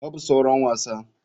Babu sauran wasa.